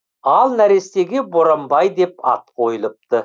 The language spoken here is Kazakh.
ал нәрестеге боранбай деп ат қойылыпты